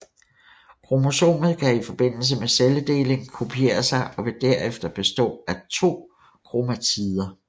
Kromosomet kan i forbindelse med celledeling kopiere sig og vil derefter bestå af to kromatider